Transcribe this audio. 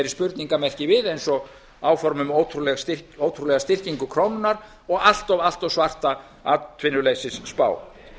spurningarmerki við eins og áform um ótrúlega styrkingu krónunnar og allt of allt of svarta atvinnuleysisspá